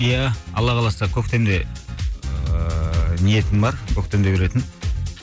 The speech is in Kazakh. иә алла қаласа көктемде ыыы ниетім бар көктемде беретін